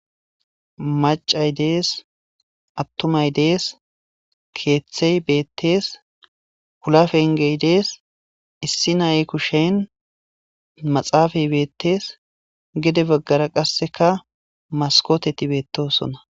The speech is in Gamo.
macay dees attomay dees keeththey beettees kulafengey dees issi naye kushen maxaafay beettees gede baggara qasseka maskoteti beettosona